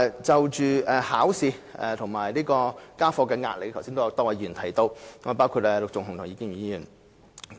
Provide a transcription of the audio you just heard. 就考試及家課的壓力，剛才亦有多位議員提到，包括陸頌雄議員及葉建源議員。